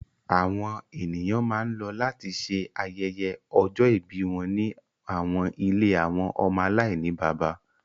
Àwọn eniyan ma n lọ lati ṣe ayẹyẹ ọjọ-ibi wọn ni awọn ìlé awọn ọmọ alainibaba